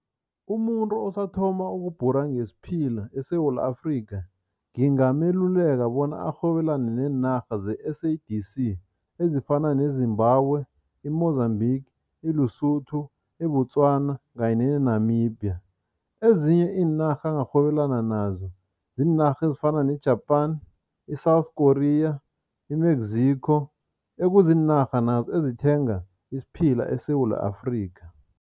Umuntu osathoma ukubhura ngesiphila eSewula Afrika ngingameluleka bona arhwebelane neenarha ze-S_A_D_C ezifana neZimbabwe, i-Mozambique, i-Lesotho, i-Botswana kanye ne-Namibia. Ezinye iinarha angarhwebelana nazo ziinarha ezifana ne-Japan i-South Korea, i-Mexico, ekuziinarha nazo ezithenga isiphila eSewula Afrika.